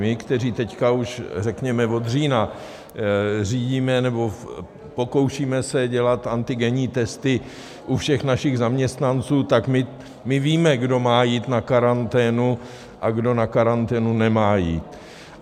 My, kteří teď už řekněme od října řídíme nebo pokoušíme se dělat antigenní testy u všech našich zaměstnanců, tak my víme, kdo má jít na karanténu a kdo na karanténu nemá jít.